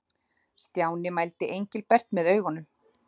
Stjáni mældi Engilbert með augunum.